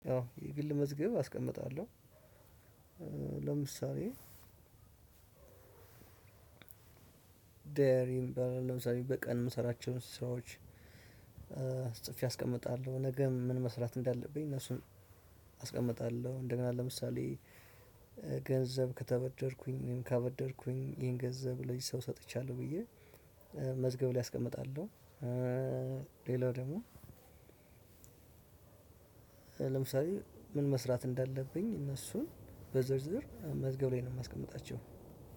ያው የግል መዝገብ አስቀምጣለሁ። ለምሳሌ ዳይሪ በቀን የምሰራቸውን ስራዎች ጽፌ አስቀምጣለሁ። ነገ ምን መስራት እንዳለብኝ እነሱን አስቀምጣለሁ። እንደገና ለምሳሌ ገንዘብ ከተበደርኩኝ እኔም ካበደርኩኝ ይሄን ገንዘብ ለዚህ ሰው ሰጥቻለሁ ብዬ መዝገብ ላይ አስቀምጣለሁ። ሌላው ደግሞ ለምሳሌ ምን መስራት እንዳለብኝ እነሱን በዝርዝር መዝገብ ላይ ነው የማስቀምጣቸው።